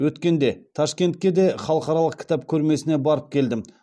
өткенде ташкентке де халықаралық кітап көрмесіне барып келдім